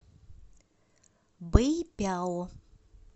бэйпяо